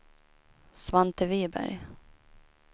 Svante Viberg